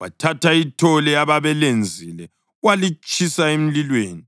Wathatha ithole abebelenzile walitshisa emlilweni;